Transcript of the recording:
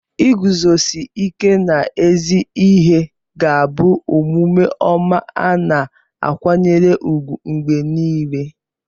Iguzosi ike n'ezi ihe ga-abụ omume ọma a na-akwanyere ùgwù mgbe niile.